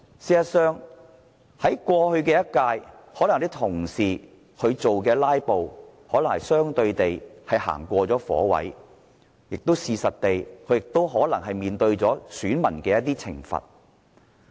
事實上，在過去一屆的立法會，有些同事"拉布"可能是相對地過了火，他們亦可能已面對選民的一些懲罰。